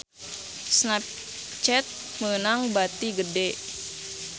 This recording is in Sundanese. Snapchat meunang bati gede